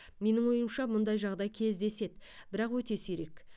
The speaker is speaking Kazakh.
менің ойымша мұндай жағдай кездеседі бірақ өте сирек